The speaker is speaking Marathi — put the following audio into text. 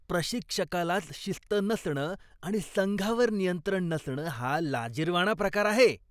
प्रशिक्षकालाच शिस्त नसणं आणि संघावर नियंत्रण नसणं हा लाजिरवाणा प्रकार आहे.